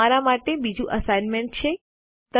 અહીં તમારા માટે બીજું અસાઇનમેન્ટ છે